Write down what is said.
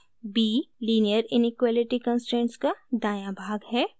b :linear inequality constraints का दायां भाग है